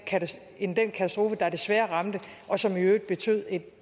katastrofe end den katastrofe der desværre ramte og som i øvrigt betød